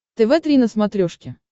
тв три на смотрешке